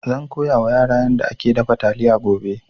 Zan koya wa ƴata yanda ake dafa taliya gobe